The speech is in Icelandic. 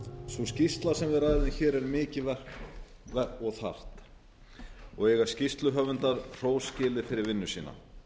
sú skýrsla sem við ræðum hér er mikið verk og þarft og eiga skýrsluhöfundar hrós skilið fyrir vinnu sína